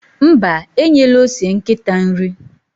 Mba, enyela ose nkịta nri.